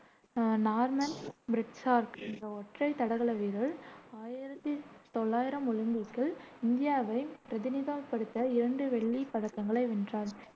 Norman Pritchard என்ற ஒற்றை தடகள வீரர் ஆயிரத்தி தொள்ளாயிரம் ஒலிம்பிக்கில் இந்தியாவைப் பிரதிநிதித்துவப்படுத்த இரண்டு வெள்ளிப் பதக்கங்களை வென்றார்.